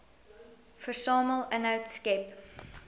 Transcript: versamel inhoud skep